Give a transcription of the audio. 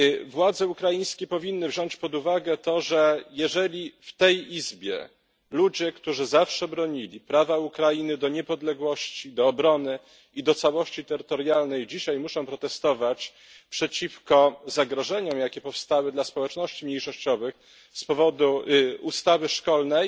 Władze ukraińskie powinny wziąć pod uwagę to, że jeżeli w tej Izbie ludzie, którzy zawsze bronili prawa Ukrainy do niepodległości, do obrony i do całości terytorialnej, dzisiaj muszą protestować przeciwko zagrożeniom, jakie powstały dla społeczności mniejszościowych z powodu ustawy szkolnej,